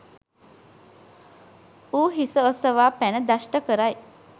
ඌ හිස ඔසවා පැන දෂ්ට කරයි.